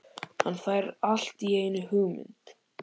Hann fær allt í einu hugmynd.